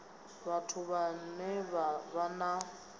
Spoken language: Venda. vhathu vhane vha vha na